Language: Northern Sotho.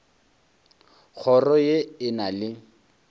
kgoro ye e na le